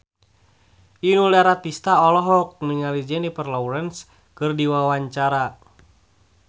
Inul Daratista olohok ningali Jennifer Lawrence keur diwawancara